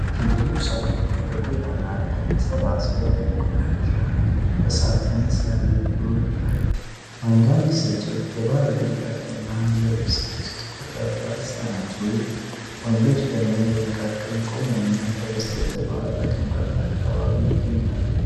ብዙ ሰዎች በጎዳና ላይ ተሰባስበው የቆሻሻ እሳትን ሲያነዱ ይታያል። አንዳንድ ሴቶች በባህላዊ ሻሽና ልብስ ውስጥ ቆሻሻ ሲያነሱ፣ ወንዶች ደግሞ በመካከል ቆመውና ከበስተጀርባ በግንባታ አካባቢ ይገኛሉ።